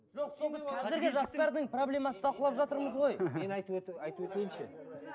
қазіргі жастардың проблемасын талқылып жатырмыз ғой мен айтып өтіп айтып өтейінші